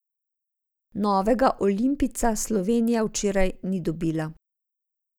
Novega olimpijca Slovenija včeraj ni dobila.